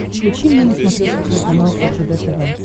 включи мне на смотрешке телеканал ржд тв